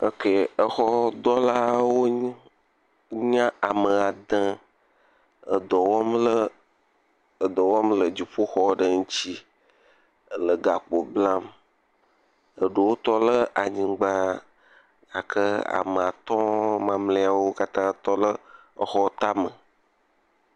Eke exɔdɔwɔlawo wonye, wonye ame ade edɔ wɔm le, edɔ wɔm le dzoƒoxɔ ŋuti, ele gakpo blam, eɖewo tɔ ɖe anyigba, ke ame atɔ̃ mamleawo tɔ le exɔ ta me.